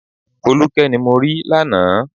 Folúkẹ́ ni mo rí lánàá